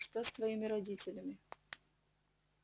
что с твоими родителями